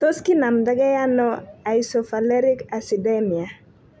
Tos kinamda ge ano isovaleric acidemia?